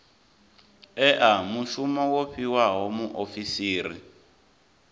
ea mushumo wo fhiwaho muofisiri